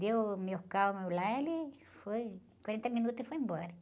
Deu, lá, ele foi, quarenta minutos e foi embora.